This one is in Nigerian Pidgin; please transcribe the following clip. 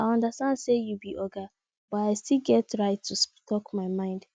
i understand sey you be oga but i still get right to talk my mind